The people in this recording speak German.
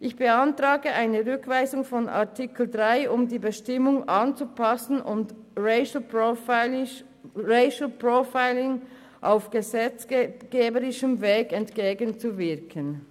Ich beantrage die Rückweisung von Artikel 3, um die Bestimmung anzupassen und Racial Profiling auf gesetzgeberischen Weg entgegenzuwirken.